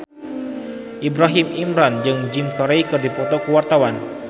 Ibrahim Imran jeung Jim Carey keur dipoto ku wartawan